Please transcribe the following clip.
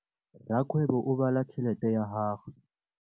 Rakgwêbô o bala tšheletê ya gagwe.